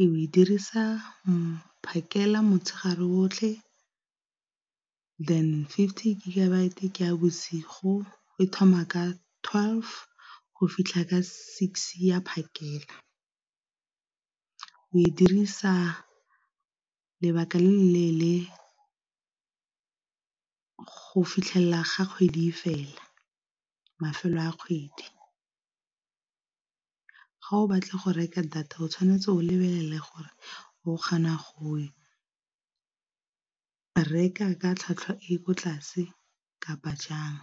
Ee, o e dirisa mo phakela, motshegare otlhe then fifty gigabyte ke ya bosigo e thoma ka twelve go fitlha ka six ya phakela, o e dirisa lebaka le le leele go fitlhelela ga kgwedi fela mafelo a kgwedi. Ga o batla go reka data o tshwanetse o lebelele gore o kgona go reka ka tlhwatlhwa e ko tlase kapa jang.